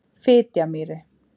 Fitjamýri